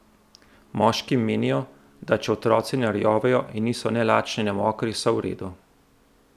Moški menijo, da če otroci ne rjovejo in niso ne lačni ne mokri, so v redu.